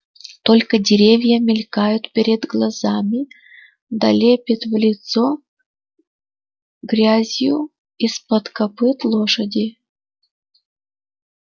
только деревья мелькают перед глазами да лепит в лицо грязью из-под копыт лошади